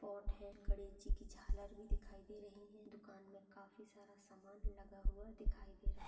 है। गणेश जी की झालर भी दिखाई दे रही है। दुकान मे काफी सारा सामान लगा हुआ दिखाई दे रहा।